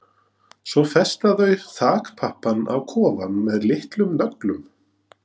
Svo festa þau þakpappann á kofann með litlum nöglum.